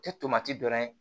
Tɛ tomati dɔ ye